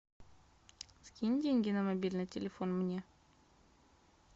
скинь деньги на мобильный телефон мне